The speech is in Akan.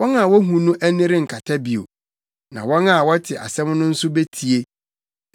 Wɔn a wohu no ani renkata bio, na wɔn a wɔte asɛm no aso betie.